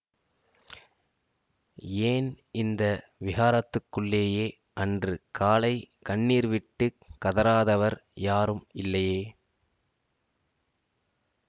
ஏன் இந்த விஹாரத்துக்குள்ளேயே அன்று காலை கண்ணீர்விட்டுக் கதறாதவர் யாரும் இல்லையே